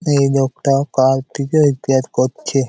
এই লোকটা কাল থেকে রিপেয়ার করছে।